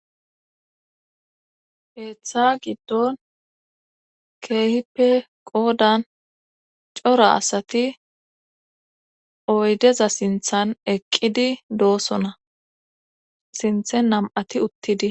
keeththa giddon keehippe qoodan cora asati oydeza sinthan eqqidi doosona sinthen nam7ati uttidi